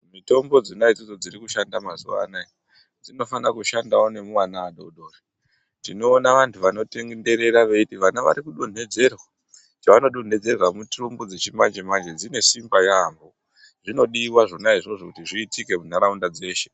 Mitombo dzona idzodzo dziri kushanda mazuwaanoaya dzinofana kushandao nemuana adodori tinoona vanthu vanotenderera veiti vana varikudonhedzerwa chavanodonhedzerwa mitombo dzechimanje dzi e simba yaambo zvinodiwa zvonaizvozvo kuti zviitike muntharaunda dzeshe.